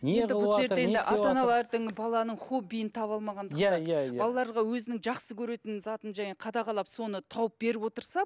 баланың хоббиін таба алмағандықтан балаларға өзінің жақсы көретін затын қадағалап соны тауып беріп отырса